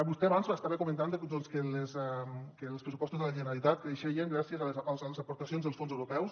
vostè abans estava comentant que els pressupostos de la generalitat creixerien gràcies a les aportacions dels fons europeus